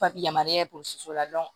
Papiye yamaruya purusi la